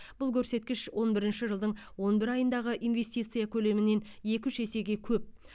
бұл көрсеткіш он бірінші жылдың он бір айындағы инвестиция көлемінен екі үш есеге көп